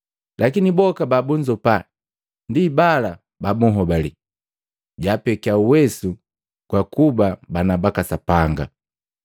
Lakini boka babunzopa, ndi bala babuhobali, jaapekia uwesu gakuba bana baka Sapanga.